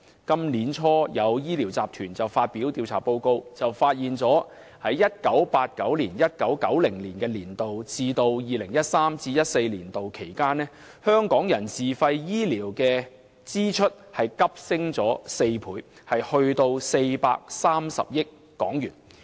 今年年初有醫療集團發表調查報告，指出由 1989-1990 年度至 2013-2014 年度期間，香港人自費醫療的支出急升4倍至大約430億港元。